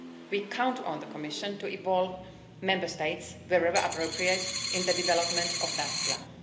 We count on the Commission to involve Member States, wherever appropriate, in the development of that plan.